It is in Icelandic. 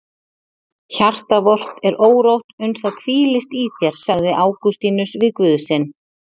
Hjarta vort er órótt uns það hvílist í þér sagði Ágústínus við Guð sinn.